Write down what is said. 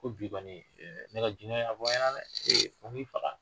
Ko bi kɔni ne ka jinɛ y'a fɔ n ɲɛna dɛ fo n k'i faga.